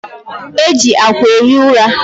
E ji akwa ehi ụra